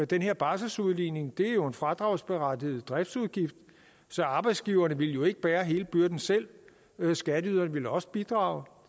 den her barselsudligning er jo en fradragsberettiget driftsudgift så arbejdsgiverne ville ikke bære hele byrden selv skatteyderne ville også bidrage